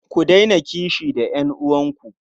Ku daina kishi da ƴan'uwanku.